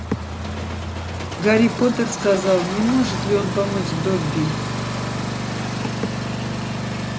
гарри поттер сказал не может ли он помочь добби